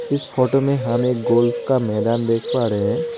इस फोटो में हमें एक गोल्फ का मैदान देख पा रहे हैं।